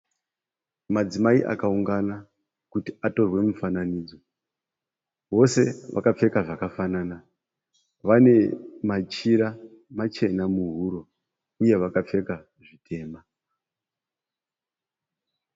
Madzimai akaungana kuti atorwe mufananidzo vose vakapfeka zvakafanana vane machira machena muhuro uye vakapfeka zvitema.